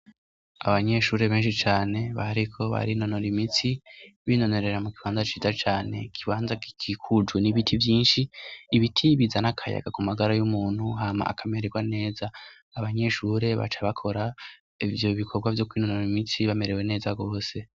Abanyeshure benshi cane bahariko bari inonoro imitsi binonorera mu gibanda ciza cane gibanza gikikuju n'ibiti vyinshi ibiti bizana akayaga ku magara y'umuntu hama akamererwa neza abanyeshure baca bakora ivyo bikorwa vy'kw inonoro imitsi bamerewe neza gose.